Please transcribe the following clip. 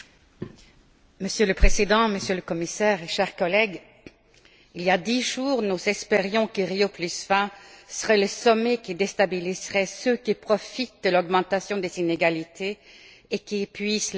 Monsieur le Président, Monsieur le Commissaire, chers collègues, il y a dix jours, nous espérions que Rio 20 serait le sommet qui déstabiliserait ceux qui profitent de l'augmentation des inégalités et qui épuisent les ressources.